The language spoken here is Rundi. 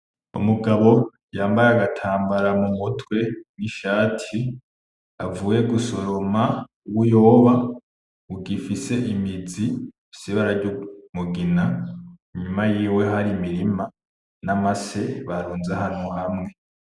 Umugabo yambaye agatambara mu mutwe, n’ishati avuye gusoroma ubuyoba bugifise imizi ifise ibara ry’umugina, inyuma yiwe hari imirima n’amase barunze ahantu hamwe.